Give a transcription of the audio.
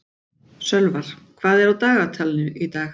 Sölvar, hvað er á dagatalinu í dag?